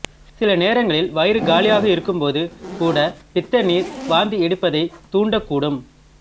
சில நேரங்களில் வயிறு காலியாக இருக்கும்போது கூட பித்த நீர் வாந்தி எடுப்பதைத் தூண்டக் கூடும்